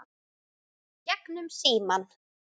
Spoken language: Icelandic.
Gegnum símann.